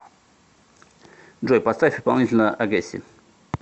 джой поставь исполнителя огесси